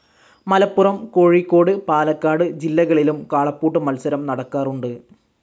മലപ്പുറം, കോഴിക്കോട്, പാലക്കാട് ജില്ലകളിലും കാളപ്പൂട്ട് മത്സരം നടക്കാറുണ്ട്.